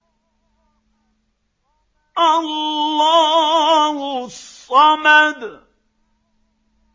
اللَّهُ الصَّمَدُ